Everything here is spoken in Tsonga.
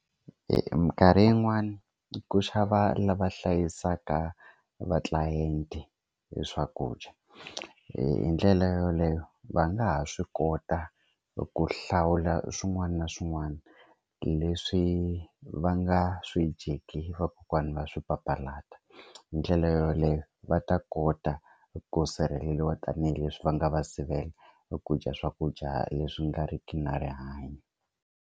Minkarhi yin'wani ku xava lava hlayisaka va tlilayente hi swakudya hi ndlela yaleyo va nga ha swi kota ku hlawula swin'wana na swin'wana leswi va nga swi dyeki vakokwani va swi papalata hi ndlela yoleyo va ta kota ku sirheleliwa tanihileswi va nga va sivela ku dya swakudya leswi nga riki na rihanyo.